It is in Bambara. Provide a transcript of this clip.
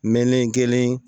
Mɛnen kelen